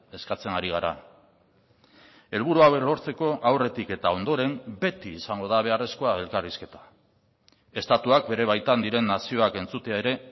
eskatzen ari gara helburu hauek lortzeko aurretik eta ondoren beti izango da beharrezkoa elkarrizketa estatuak bere baitan diren nazioak entzutea ere